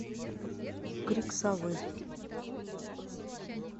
крик совы